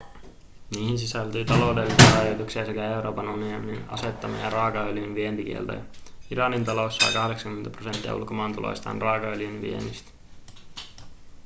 niihin sisältyy taloudellisia rajoituksia sekä euroopan unionin asettama raakaöljyn vientikielto iranin talous saa 80 prosenttia ulkomaantuloistaan raakaöljyn viennistä